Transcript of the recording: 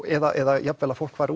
eða jafnvel að fólk fari